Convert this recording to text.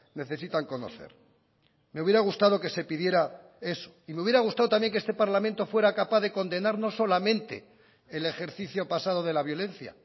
necesitan conocer me hubiera gustado que se pidiera eso y me hubiera gustado también que este parlamento fuera capaz de condenar no solamente el ejercicio pasado de la violencia